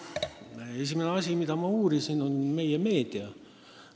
Esimene asi, mida ma uurisin, oli meie meedia.